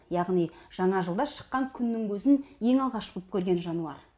яғни жаңа жылда шыққан күннің көзін ең алғаш боп көрген жануар